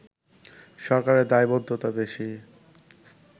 সরকারের দায়বদ্ধতা বেশি